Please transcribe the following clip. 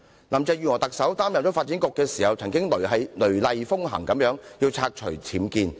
林鄭月娥在擔任發展局局長時，曾雷厲風行要拆除僭建物。